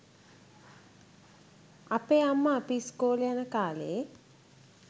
අපේ අම්ම අපි ඉස්කෝලෙ යන කාලේ